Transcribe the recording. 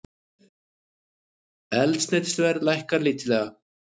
Eldsneytisverð lækkar lítillega